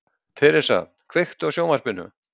Theresa, kveiktu á sjónvarpinu.